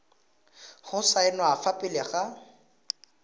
go saenwa fa pele ga